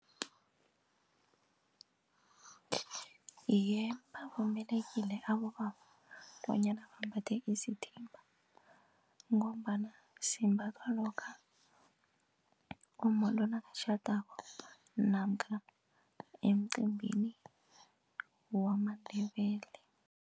Iye, bavumelekile abobaba bonyana bambathe isithimba ngombana simbathwa lokha umma lo nakatjhadako namkha emcimbini wamaNdebele.